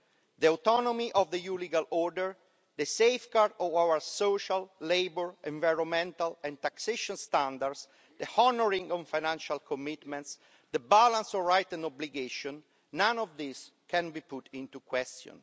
The autonomy of the EU legal order, the safeguarding of our social, labour, environmental and taxation standards, the honouring of financial commitments, the balance of rights and obligations, none of these can be put into question.